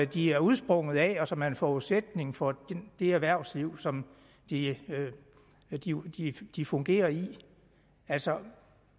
de er udsprunget af og som er en forudsætning for det erhvervsliv som de de fungerer i altså